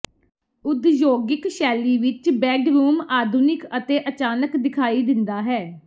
ਉਦਯੋਗਿਕ ਸ਼ੈਲੀ ਵਿੱਚ ਬੈਡਰੂਮ ਆਧੁਨਿਕ ਅਤੇ ਅਚਾਨਕ ਦਿਖਾਈ ਦਿੰਦਾ ਹੈ